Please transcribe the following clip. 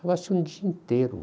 Ficava-se um dia inteiro.